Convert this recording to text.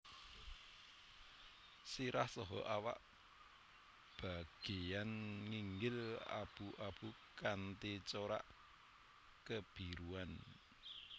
Sirah saha awak bageyan nginggil abu abu kanthi corak kebiruan